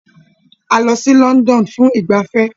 A lọ sí London fún ìgbafẹ́